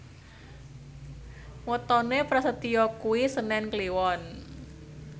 wetone Prasetyo kuwi senen Kliwon